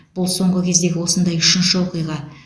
бұл соңғы кездегі осындай үшінші оқиға